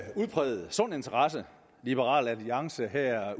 en udpræget sund interesse liberal alliance her